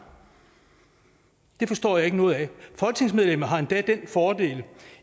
det forstår jeg ikke noget af folketingsmedlemmet har endda den fordel